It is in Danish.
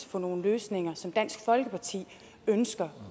for nogle løsninger som dansk folkeparti ønsker